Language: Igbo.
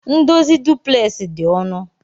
Ndozi duplex di onụ.